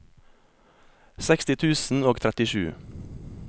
seksti tusen og trettisju